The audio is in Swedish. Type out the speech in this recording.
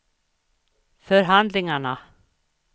förhandlingarna